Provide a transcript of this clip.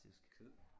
Kød